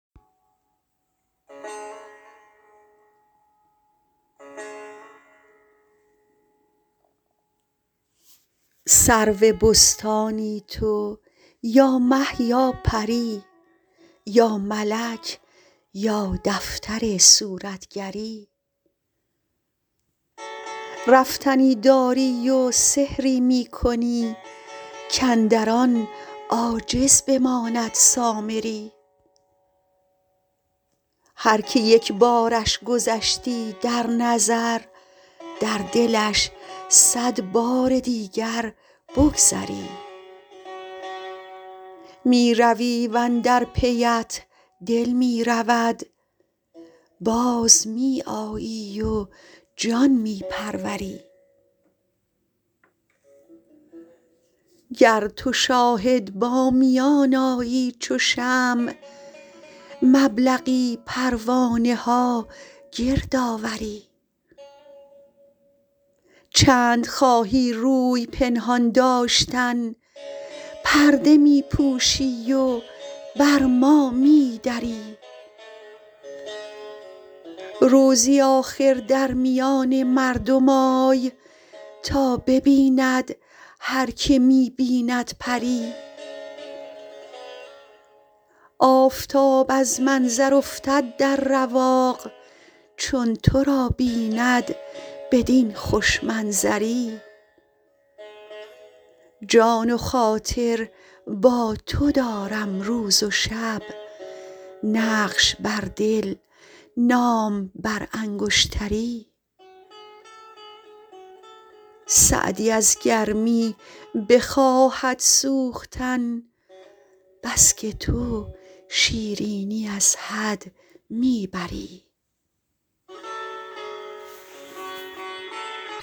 سرو بستانی تو یا مه یا پری یا ملک یا دفتر صورتگری رفتنی داری و سحری می کنی کاندر آن عاجز بماند سامری هر که یک بارش گذشتی در نظر در دلش صد بار دیگر بگذری می روی و اندر پیت دل می رود باز می آیی و جان می پروری گر تو شاهد با میان آیی چو شمع مبلغی پروانه ها گرد آوری چند خواهی روی پنهان داشتن پرده می پوشی و بر ما می دری روزی آخر در میان مردم آی تا ببیند هر که می بیند پری آفتاب از منظر افتد در رواق چون تو را بیند بدین خوش منظری جان و خاطر با تو دارم روز و شب نقش بر دل نام بر انگشتری سعدی از گرمی بخواهد سوختن بس که تو شیرینی از حد می بری